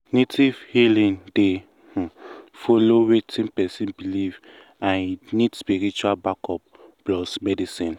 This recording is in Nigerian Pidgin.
native healing dey um follow wetin person believe and e need spiritual backup plus medicine.